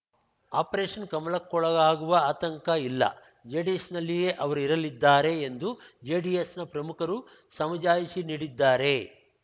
operation ಕಮಲಕ್ಕೊಳಗಾಗುವ ಆತಂಕ ಇಲ್ಲ ಜೆಡಿಎಸ್‌ನಲ್ಲಿಯೇ ಅವರು ಇರಲಿದ್ದಾರೆ ಎಂದು ಜೆಡಿಎಸ್‌ನ ಪ್ರಮುಖರು ಸಮಜಾಯಿಷಿ ನೀಡಿದ್ದಾರೆ